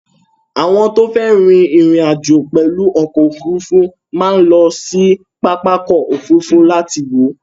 Àwọn tó fẹ́ ri ìrìn-àjò pẹ̀lú ọkọ òfurufú máa ń lọ sí pápákọ̀-òfurufú láti wọ̀ ọ́.